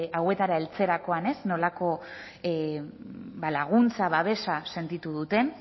hauetara heltzerakoan nolako laguntza babesa sentitu duten